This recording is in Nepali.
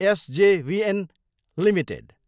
SJVN Ltd